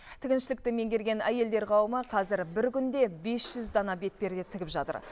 тігіншілікті меңгерген әйелдер қауымы қазір бір күнде бес жүз дана бетперде тігіп жатыр